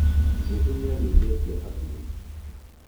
Jesũ nĩariũkirie akuũ